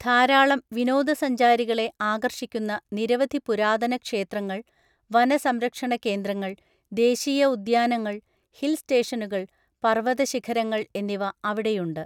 ധാരാളം വിനോദസഞ്ചാരികളെ ആകർഷിക്കുന്ന നിരവധി പുരാതന ക്ഷേത്രങ്ങൾ, വന സംരക്ഷണ കേന്ദ്രങ്ങൾ, ദേശീയ ഉദ്യാനങ്ങൾ, ഹിൽ സ്റ്റേഷനുകൾ, പർവതശിഖരങ്ങൾ എന്നിവ അവിടെയുണ്ട്.